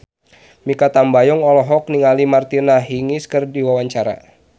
Mikha Tambayong olohok ningali Martina Hingis keur diwawancara